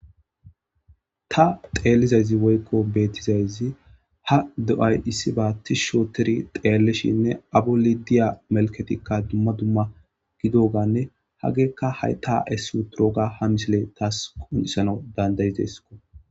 ta xeellizayzi woykko beettizayzi ha do7ay issi baatti shooteri xeellishinne abu lidiya melketikka dumma dumma gidoganne hageekka hay ta essu turooga ha misile taas qonisana dandayizesko